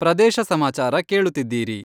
ಪ್ರದೇಶ ಸಮಾಚಾರ ಕೇಳುತ್ತಿದ್ದೀರಿ.